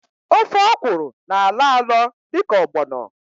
Ofe ọkwụrụ na-alọ alọ dịka ọgbọnọ